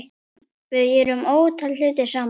Við gerðum ótal hluti saman.